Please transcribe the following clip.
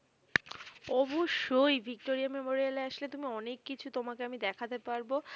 অবশ্যই ভিক্টোরিয়া মেমোরিয়ালে আসলে তুমি অনেককিছু তোমাকে আমি দেখাতে পারবো।